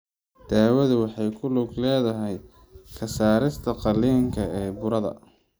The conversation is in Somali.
Daawadu waxay ku lug leedahay ka saarista qaliinka ee burada.